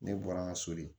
Ne bɔra n ka so de